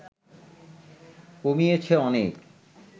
কমিয়েছে অনেক